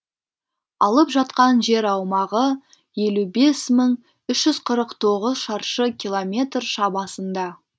алып жатқан жер аумағы елу бес мың үш жүз қырық тоғыз шаршы километр шамасында